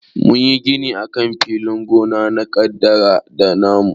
Mun yi gini akan filin gona na kaɗada na mu.